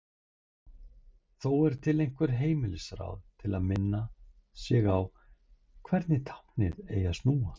Þó eru til einhver heimilisráð til að minna sig á hvernig táknið eigi að snúa.